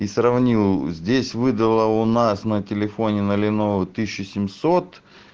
и сравнил здесь выдала у нас на телефоне на леново тысячу семьсот